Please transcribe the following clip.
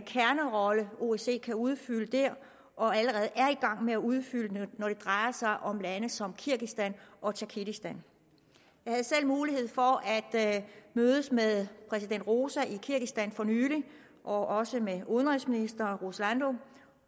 kernerolle osce kan udfylde der og allerede er gang med at udfylde når det drejer sig om lande som kirgisistan og tadsjikistan jeg havde selv mulighed for at mødes med præsident roza i kirgisistan for nylig og også med udenrigsminister